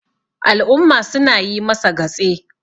al'umma suna yi masa gatse